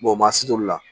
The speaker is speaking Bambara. maa si t'olu la